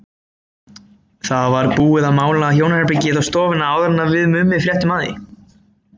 Það var búið að mála hjónaherbergið og stofuna áður en við Mummi fréttum af því.